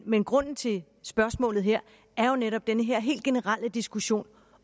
men grunden til spørgsmålet her er jo netop den her helt generelle diskussion